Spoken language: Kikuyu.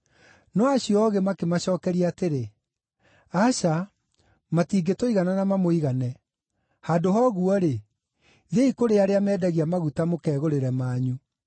“No acio oogĩ makĩmacookeria atĩrĩ, ‘Aca, matingĩtũigana na mamũigane. Handũ ha ũguo-rĩ, thiĩi kũrĩ arĩa mendagia maguta mũkegũrĩre manyu.’